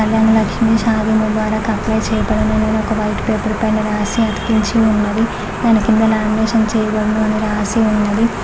కళ్యాణ లక్ష్మీ షాది ముబారక్ అప్లై చేయబడును అని ఒక వైట్ పేపర్ పైన రాసి అతికించి ఉన్నది దాని కింద లామినేషన్ చేయబడును అని రాసి ఉన్నది.